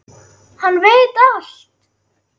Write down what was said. Hann veit allt!